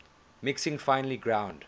mixing finely ground